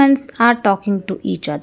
are talking to each other.